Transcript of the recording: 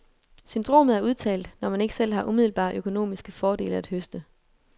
Syndromet er udtalt, når man ikke selv har umiddelbare økonomiske fordele at høste.